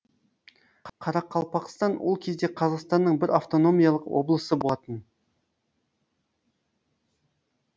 қарақалпақстан ол кезде қазақстанның бір автономиялық облысы болатын